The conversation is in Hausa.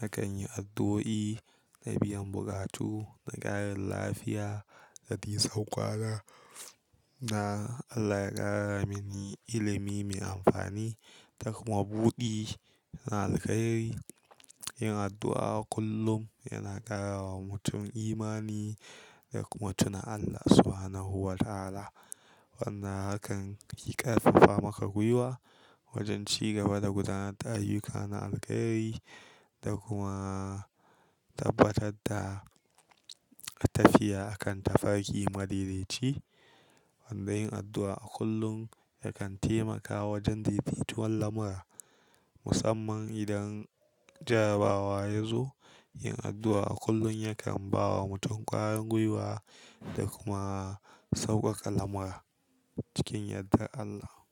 nakan yi addu'o'i na biyan buƙatu, na ƙarin lafiya da dai nisan ƙwana, na Allah ya ƙara mini ilimi mai amfani da kuma buɗi na alkairi. Yin addu'a kullum yana ƙara wa mutum imani da kuma tuna Allah Subhanahu wa Ta'ala. Wannan hakan yi ƙarfafa maka gwiwa wojen ci gaba da gudanar da ayyuka na alkairi da kuma tabbatar da tafiya a kan tafarki madaidaci. Wanda yin addu'a a kullum yakan taimaka wojen dai-daituwan lamura, musamman idan jarabawa ya zo. Yin addu'a a kullum yakan ba wa mutum ƙwarin guiwa da kuma sauƙaƙa lamura cikin yardan Allah.